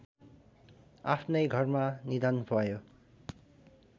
आफ्नै घरमा निधन भयो